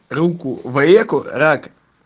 руку в реку рак